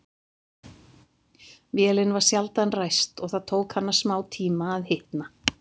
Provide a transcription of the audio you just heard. Vélin var sjaldan ræst og það tók hana smátíma að hitna.